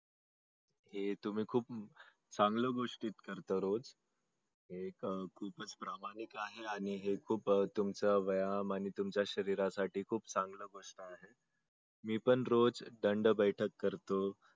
हे तुम्ही खूप चांगल्या गोष्टी करता रोज हे खुपच प्रामाणीक आहे हे खूप तुमच व्यायाम आणि तुमच्या शरीरासाठी खूपच चांगल म्हणणं आहे मी पण रोज दंडबैठक करतो.